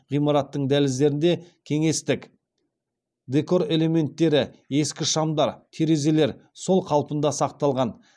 ғимараттың дәліздерінде кеңестік декор элементтері ескі шамдар терезелер сол қалпында сақталған